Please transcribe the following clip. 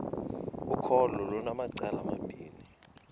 ukholo lunamacala amabini